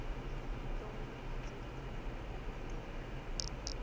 ndoh le etseditswe ho etella